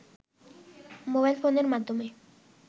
mobile ফোনের মাধ্যমে